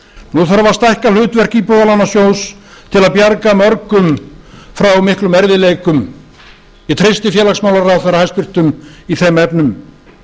nú þarf að stækka hlutverk íbúðalánasjóðs til að bjarga mörgum frá miklum erfiðleikum ég treysti félagsmálaráðherra hæstvirtur í þeim efnum